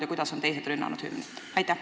Ja kuidas on teised hümni rünnanud?